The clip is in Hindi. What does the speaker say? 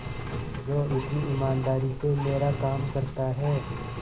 जो इतनी ईमानदारी से मेरा काम करता है